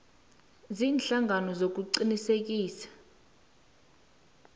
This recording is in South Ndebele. ziinhlangano zokuqinisekisa zebee